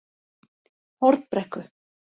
Hornbrekku